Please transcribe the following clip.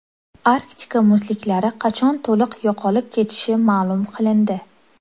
Arktika muzliklari qachon to‘liq yo‘qolib ketishi ma’lum qilindi.